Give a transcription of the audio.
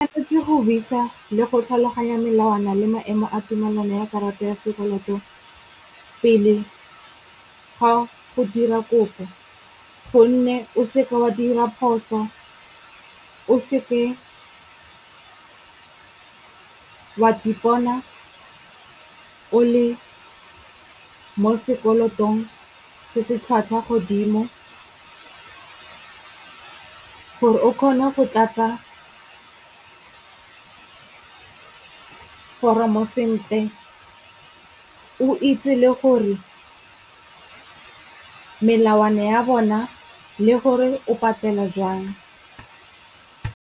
O tshwanetse go buisa le go tlhaloganya melawana le maemo a tumelano ya karata ya sekoloto pele ga go dira kopo gonne o seke wa dira phoso, o seke wa ipona o le mo sekolotong se se tlhwatlhwa godimo gore o kgone go tlatsa foromo sentle, o itse le gore melawana ya bona le gore o patela jang.